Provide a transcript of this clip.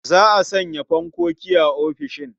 Za a sanya fankoki a ofisishin.